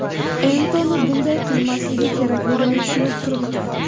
Entoni bunday qilmasligi kerakligini tushunib turibdi.